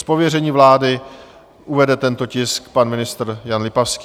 Z pověření vlády uvede tento tisk pan ministr Jan Lipavský.